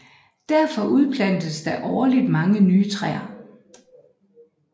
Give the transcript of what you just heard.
Derfor udplantes der årligt mange nye træer